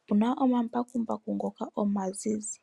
Okuna omambakumbaku ngoka omazizi.